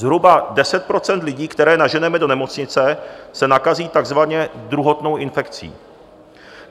Zhruba 10 % lidí, které naženeme do nemocnice, se nakazí takzvaně druhotnou infekcí.